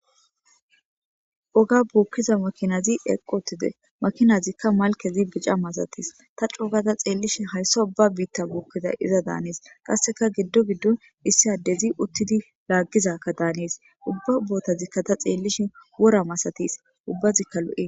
Oga buukkiza makinazi eqqotide makinazikka malkezi bica masatis ta cuugata xeellishi hayssa ubba biitta buukkiza iza daanis qasseka giddo giddon issi addezi uttidi laaggizakka daanis ubba ubootazikka ta xeellishi wora masatis ubbazikka lo7e.